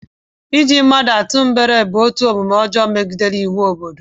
Iji mmadụ atụ mgbere bụ otu omume ọjọọ nke megidere iwu obodo